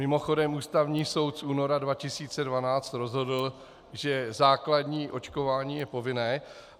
Mimochodem, Ústavní soud z února 2012 rozhodl, že základní očkování je povinné.